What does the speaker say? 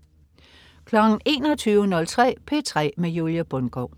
21.03 P3 med Julie Bundgaard